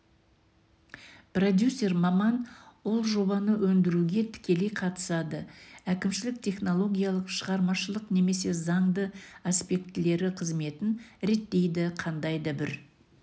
продюсер маман ол жобаны өндіруге тікелей қатысады әкімшілік технологиялық шығармашылық немесе заңды аспектілері қызметін реттейді қандай да бір